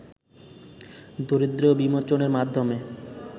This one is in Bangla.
দারিদ্র্য বিমোচনের মাধ্যমে